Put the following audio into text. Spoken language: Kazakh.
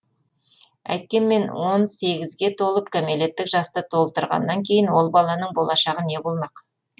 әйткенмен он сегізге толып кәмелеттік жасты толтырғаннан кейін ол баланың болашағы не болмақ